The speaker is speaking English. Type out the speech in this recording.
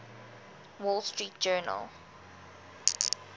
wall street journal